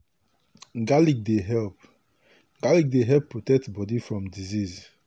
garlic dey help garlic dey help protect body from disease.